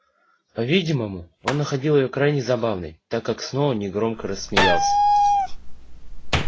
по-видимому он находил её крайне забавной так как снова негромко рассмеялся